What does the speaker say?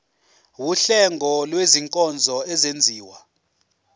wuhlengo lwezinkonzo ezenziwa